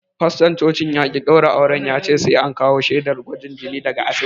Faston cocin ya ƙi daura auren yace sai an kawo shaidar gwajin jini daga asibiti.